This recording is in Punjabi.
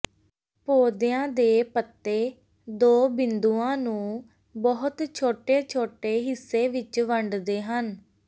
ਪੌਦਿਆਂ ਦੇ ਪੱਤੇ ਦੋ ਬਿੰਦੂਆਂ ਨੂੰ ਬਹੁਤ ਛੋਟੇ ਛੋਟੇ ਹਿੱਸੇ ਵਿਚ ਵੰਡਦੇ ਹਨ